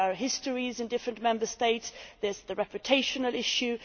there are histories in different Member States there is the reputation issue